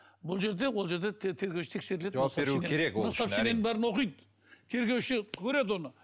бұл жерде ол жерде жауап беруі керек ол үшін сообщениенің бәрін оқиды тергеуші көреді оны